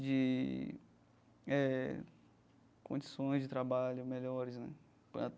de eh condições de trabalho melhores, né?